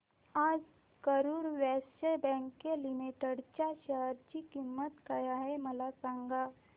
आज Karur Vysya bank limited च्या share ची किंमत काय आहे मला सांगा